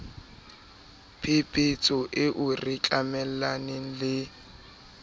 phephetso eo re tjamelaneng le